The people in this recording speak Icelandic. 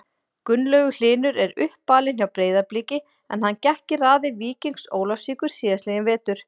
Gunnlaugur Hlynur er uppalinn hjá Breiðabliki en hann gekk í raðir Víkings Ólafsvíkur síðastliðinn vetur.